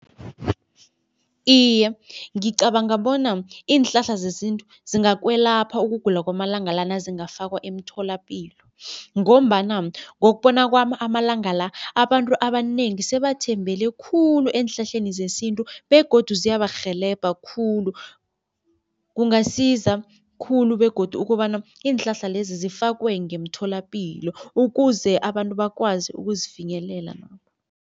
Iye, ngicabanga bona iinhlahla zesintu zingakwelapha ukugula kwamalanga la nazingafakwa emtholapilo ngombana ngokubona kwami amalanga la, abantu abanengi sebathembele khulu eenhlahleni zesintu begodu ziyabarhelebha khulu. Kungasiza khulu begodu ukobana iinhlahla lezi zifakwe ngeemtholapilo ukuze abantu bakwazi ukuzifinyelela lapho.